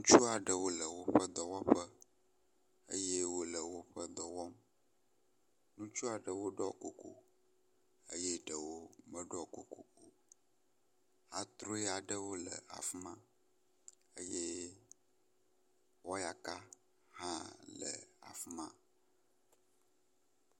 Ŋutsu aɖewo le woƒe dɔwɔƒewo eye wo le woƒe dɔwɔwo wɔm. Ŋurtsu aɖewo ɖɔ kuku eye eɖewo meɖɔ kuku o. atrɔe aɖewo le afi ma eye wɔyaka hã le afi ma.